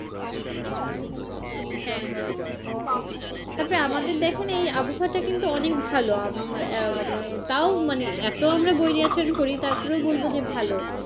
হ্যাঁ হ্যাঁ তারপরে আমাদের দেখেন আমাদের কিন্তু এই আবহাওয়াটা অনেক ভালো উম মানে তাও মানে এতো আমরা করি তারপরেও বলবো যে ভালো।